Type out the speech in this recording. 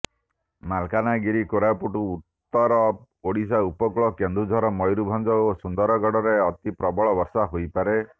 ମାଲକାନଗିରି କୋରାପୁଟ ଉତ୍ତର ଓଡ଼ିଶା ଉପକୂଳ କେନ୍ଦୁଝର ମୟୂରଭଞ୍ଜ ଓ ସୁନ୍ଦରଗଡ଼ରେ ଅତି ପ୍ରବଳ ବର୍ଷା ହୋଇପାରେ